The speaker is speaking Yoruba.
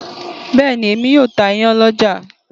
Bẹ́ẹ̀ ni, èmi yóò ta iyán lọ́jà